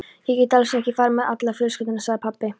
Ég get alls ekki farið með alla fjölskylduna, sagði pabbi.